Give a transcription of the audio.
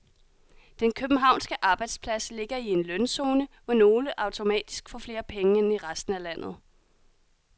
Den københavnske arbejdsplads ligger i en lønzone, hvor nogle automatisk får flere penge end i resten af landet.